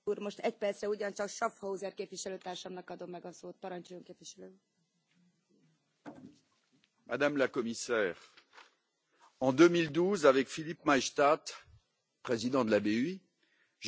Madame la Commissaire, en 2012, avec Philippe Maystadt, président de la Banque européenne d'investissement, je proposai la mise en place d'une agence d'investissement pour promouvoir les synergies nationales au niveau européen,